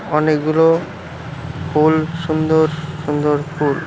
অনেকগুলো ফুল সুন্দর সুন্দর ফুল।